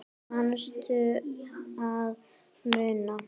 Manstu að muna?